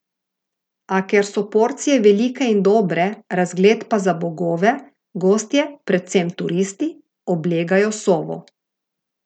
A ker so porcije velike in dobre, razgled pa za bogove, gostje, predvsem turisti, oblegajo Sovo.